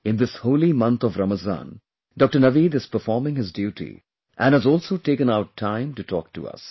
In this holy month of Ramzan, Dr Naveed is performing his duty and has also taken out time to talk to us